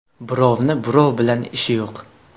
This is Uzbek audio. Birovni birov bilan ishi yo‘q.